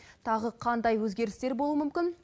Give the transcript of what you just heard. тағы қандай өзгерістер болуы мүмкін